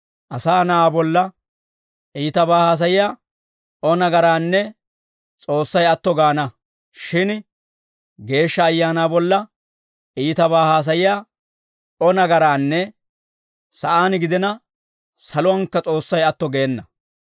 Ta bolla, Asaa Na'aa bolla, iitabaa haasayiyaa O nagaraanne S'oossay atto gaana; shin Geeshsha Ayaanaa bolla iitabaa haasayiyaa O nagaraanne sa'aan gidina, saluwankka S'oossay atto geena.